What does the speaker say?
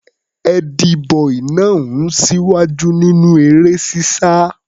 Ẹ́dí-bọì náà ń ṣíwájú nínú eré-sísá.